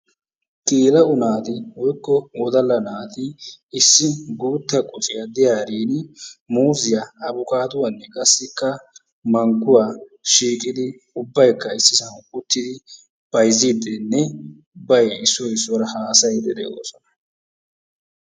Geela'o naati woykko wodala naaati issi guutta qocciya diyarin muuziya abokkaduwa mangguwa shiiqidi ubaykka issisan uttidi bayziidinne ubay issoy issuwara haasayiidi de'oosona.